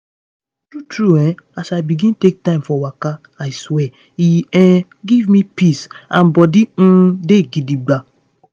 true true as i begin take time for waka i swear e um give me peace and body um dey gidigbam.